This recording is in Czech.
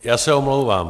Já se omlouvám.